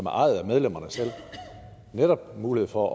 er ejet af medlemmerne selv mulighed for